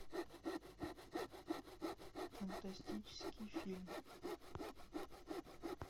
фантастический фильм